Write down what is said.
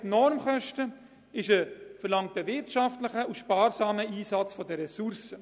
Das Konzept Normkosten verlangt einen wirtschaftlichen und sparsamen Einsatz der Ressourcen.